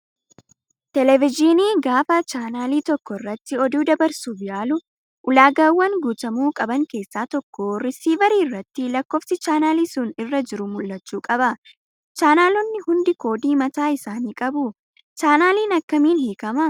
Televezyiiniin gaafa chaanaalii tokko irratti oduu dabarsuuf yaalu ulaagaawwan guutamuu qaban keessaa tokko riisiivarii irratti lakkoofis chaanaaliin sun irra jiru mul'achuu qaba. Chaanaloonni hundi koodii mataa isaanii qabu. Chaanaaliin akkamiin hiikamaa?